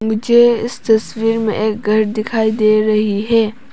मुझे इस तस्वीर में घर दिखाई दे रही है।